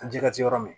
Ji ka se yɔrɔ min